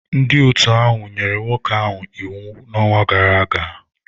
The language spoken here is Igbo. Ndị otu ahụ nyere nwoke ahụ iwu n'ọnwa gara aga.